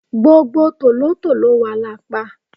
gbogbo tòlótòló wa la pa